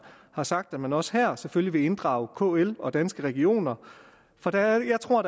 har sagt at man også her selvfølgelig vil inddrage kl og danske regioner for jeg tror